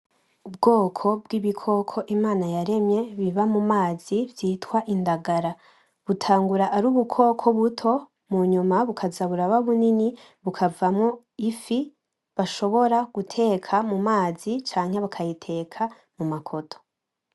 Ubwoko bwibikoko imana yaremye biba mumazi vyitwa indagara, butangura ari ubukoko buto munyuma bukazaba buraba bunini bukavamo ifi bashobora guteka mumazi canke bakayiteka mu makoto.